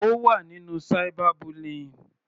Ó wà nínú cyber bullying.